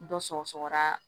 Dɔ sɔgɔra